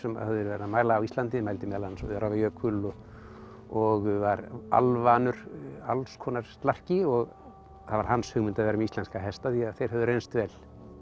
hafði verið að mæla á Íslandi mældi meðal annars Öræfajökul og var alvanur alls konar slarki og það var hans hugmynd að vera með íslenska hesta því þeir höfðu reynst vel